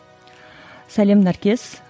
сәлем наркес